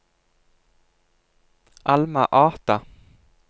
Alma Ata